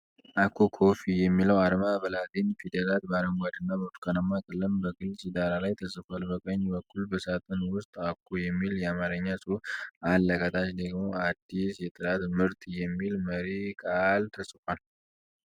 'አኮ ኮፊ' የሚለው አርማ በላቲን ፊደላት በአረንጓዴ እና ብርቱካናማ ቀለም በግልፅ ዳራ ላይ ተጽፏል። በቀኝ በኩል በሳጥን ውስጥ 'አኮ' የሚል የአማርኛ ጽሑፍ አለ፤ ከታች ደግሞ 'አዲስ የጥራት ምርት!' የሚል መሪ ቃል ተጽፏል።